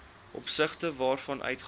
opsigte waarvan uitgawes